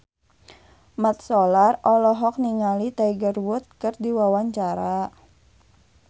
Mat Solar olohok ningali Tiger Wood keur diwawancara